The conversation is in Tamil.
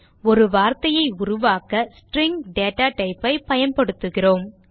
ஒரு வார்த்தையை உருவாக்க ஸ்ட்ரிங் டேட்டா type ஐ பயன்படுத்துகிறோம்